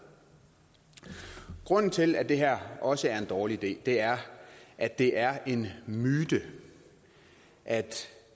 grunden til at det her også er en dårlig idé er at det er en myte at